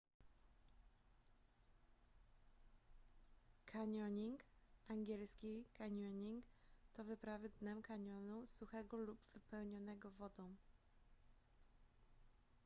kanioning ang. canyoning to wyprawy dnem kanionu suchego lub wypełnionego wodą